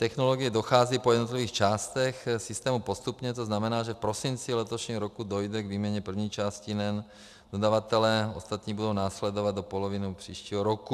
Technologie dochází po jednotlivých částech systému postupně, to znamená, že v prosinci letošního roku dojde k výměně první části NEN dodavatelem, ostatní budou následovat do poloviny příštího roku.